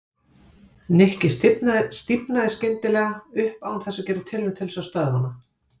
Nikki stífnaði skyndilega upp án þess að gera tilraun til þess að stöðva hana.